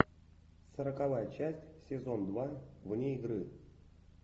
сороковая часть сезон два вне игры